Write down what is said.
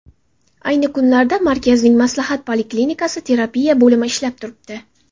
Ayni kunlarda markazning maslahat poliklinikasi, terapiya bo‘limi ishlab turibdi.